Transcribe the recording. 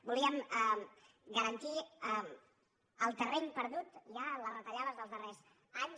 volíem garantir el terreny perdut ja en les retallades dels darrers anys